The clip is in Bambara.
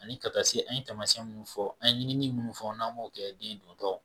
Ani ka taa se an ye taamasiyɛn minnu fɔ an ɲinini minnu fɔ n'an b'o kɛ den dontɔ